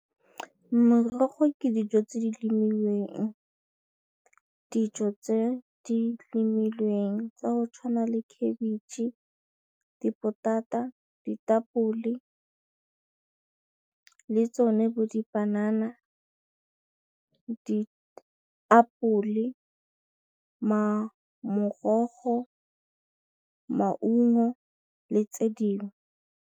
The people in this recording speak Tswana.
Merogo ke dijo tse di , dijo tse di lemilweng tsa go tshwana le khabetšhe, dipotata, ditapole le tsone le dipanana, diapole, morogo, maungo le tse dingwe.